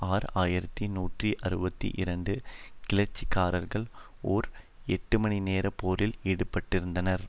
ஆறு ஆயிரத்தி நூற்றி அறுபத்தி இரண்டு கிளர்ச்சிக்காரர்கள் ஒர் எட்டுமணி நேர போரில் ஈடுபட்டிருந்தனர்